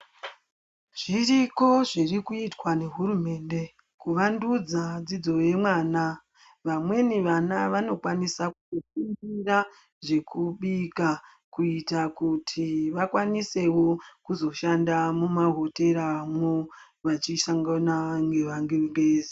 Zviriko zviri kuitwa nehurumende ,kuvandudzwa dzidzo yemwana. Vamweni vana vanokwanisa kufundira zvekubika, kuita kuti vakwanisewo kuzoshanda mumahoteramwo, vachisangana nengevangengezi.